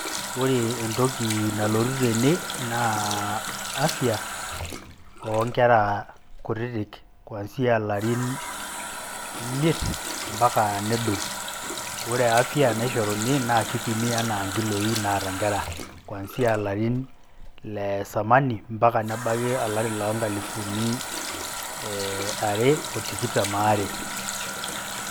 Ore entoki nalotu tene naa afya o nkera kutitik kuanzia ilarin imiet mbaka nedou. Ore afya naishoruni naa kipimi enaa nkiloi naata nkera kuanzia larin le zamani, mpaka nebaki olari loo nkalifuni ee are o tikitam aare.